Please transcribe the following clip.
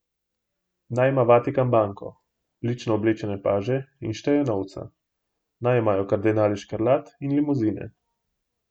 Naj ima Vatikan banko, lično oblečene paže in šteje novce, naj imajo kardinali škrlat in limuzine.